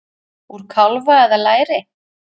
Úr kálfa eða læri!